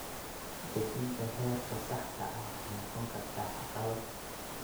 Dejinta heerka saxda ah waxay noqon kartaa caqabad.